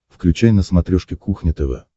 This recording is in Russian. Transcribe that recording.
включай на смотрешке кухня тв